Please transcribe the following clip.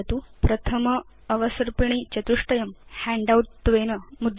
प्रथम अवसर्पिणी चतुष्टयं हैण्डआउट त्वेन मुद्रयतु